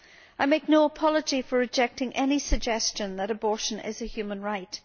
I make no apology for rejecting any suggestion that abortion is a human right.